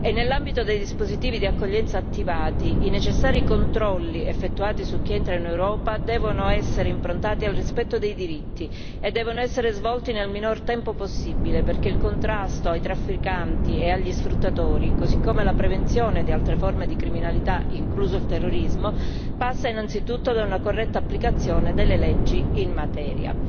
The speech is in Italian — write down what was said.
Nell'ambito dei dispositivi di accoglienza attivati, i necessari controlli effettuati su chi entra in Europa devono essere improntati al rispetto dei diritti e devono essere svolti nel minor tempo possibile perché il contrasto ai trafficanti e agli sfruttatori, così come la prevenzione di altre forme di criminalità, incluso il terrorismo, passa innanzitutto da una corretta applicazione delle leggi in materia.